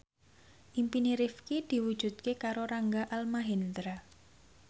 impine Rifqi diwujudke karo Rangga Almahendra